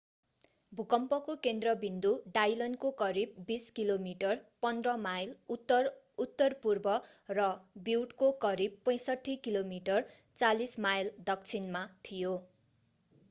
भूकम्पको केन्द्रविन्दु डाइलनको करिब 20 किमि 15 माइल उत्तर-उत्तरपूर्व र ब्युटको करिब 65 किमि 40 माइल दक्षिणमा थियो।